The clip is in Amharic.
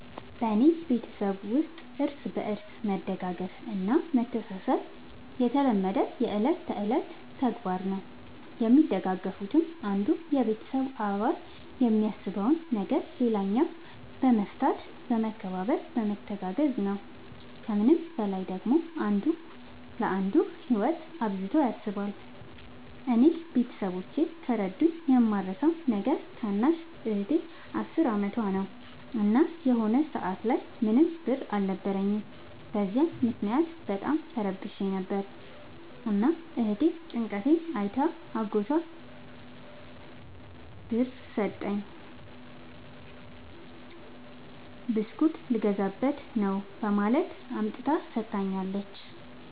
በኔ ቤተሠብ ውስጥ እርስ በርስ መደጋገፍ እና መተሣሠብ የተለመደና የእለት ከእለት ተግባር ነው። የሚደጋገፉትም አንዱ የቤተሰብ አባል የሚያሳስበውን ነገር ሌላኛው በመፍታት በመከባበር በመተጋገዝ ነው። ከምንም በላይ ደግሞ አንዱ ለአንዱ ህይወት አብዝቶ ያስባል። እኔ ቤተሠቦቼ ከረዱኝ የማረሣው ነገር ታናሽ እህቴ አስር አመቷ ነው። እና የሆነ ሰአት ላይ ምንም ብር አልነበረኝም። በዚያ ምክንያት በጣም ተረብሼ ነበር። እና እህቴ ጭንቀቴን አይታ አጎቷን ብር ስጠኝ ብስኩት ልገዛበት ነው በማለት አምጥታ ሠጥታኛለች።